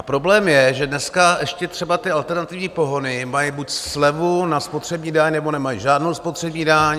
A problém je, že dneska ještě třeba ty alternativní pohony mají buď slevu na spotřební daň, nebo nemají žádnou spotřební daň.